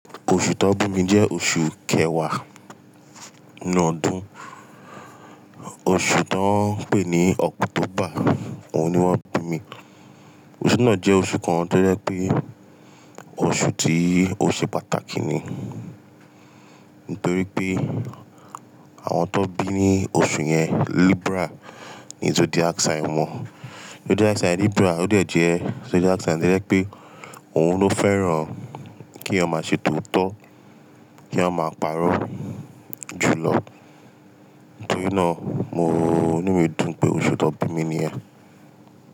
Oṣù tán bí mi jẹ́ oṣù kẹwàá inú ọdún. Oṣù tó ń pè ní "october" òun ni wọ́n bí mi. Oṣù náà jẹ́ oṣù kan tó jẹ pé oṣù tí ó ṣe pàtàkì ni. Nítorí pé àwọn tó bí ní oṣù yẹn Libra ní zodiac sign wọn. Zodiac sign Libra ó dẹ̀ jẹ́ zodiac sign tó jẹ pé òun ló fẹ́ràn kí a máa ṣe tòótọ́, kí èèyàn máa pàrọ̀ jùlọ. Nítorí náà inu mi dùn pé oṣù tán bí mi ni yẹn.